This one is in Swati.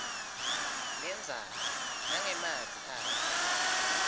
lendzaba nangemavi akhe